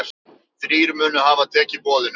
Þrír munu hafa tekið boðinu.